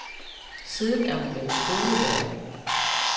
Siden er hun blevet skolelærer.